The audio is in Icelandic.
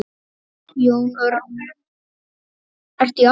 Jón Örn: Ertu í afmæli?